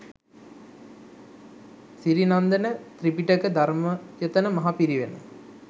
Sirinandana Tripitaka Dharmayatana Maha Pirivena